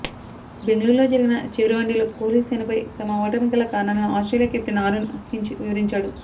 బెంగళూరులో జరిగిన చివరి వన్డేలో కోహ్లీ సేనపై తమ ఓటమికి గల కారణాలను ఆస్ట్రేలియా కెప్టెన్ ఆరోన్ ఫించ్ వివరించాడు